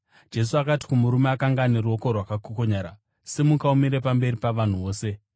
Jesu akati kumurume akanga ane ruoko rwakakokonyara, “Simuka umire pamberi pavanhu vose.”